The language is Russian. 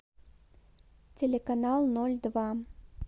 телеканал ноль два